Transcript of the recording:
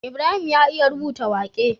Ibrahim ya iya rubuta waƙe